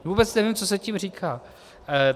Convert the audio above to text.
Vůbec nevím, co se tím říká.